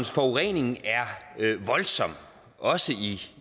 forurening er voldsom også i